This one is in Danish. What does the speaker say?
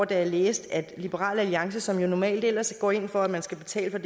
da jeg læste at liberal alliance som jo normalt ellers går ind for at man skal betale